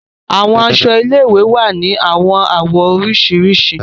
Àwọn aṣọ ilé-ìwé wà ni awọn awọ oriṣiriṣi.